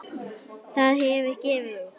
Það hefur gefið út